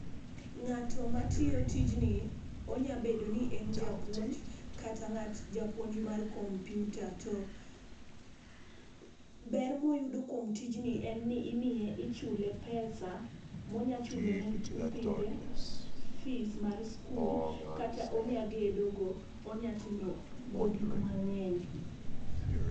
Ng'ato ma tiyo tijni, onya bet ni en japuonj kata ng'at japuonj mar komyuta ,to ber ma oyudo kuom tij i en ni ichule pesa ma onya chulo ne nyithinde fees mar skul, kata onya gedo go ,onya timo go gik mang'eny.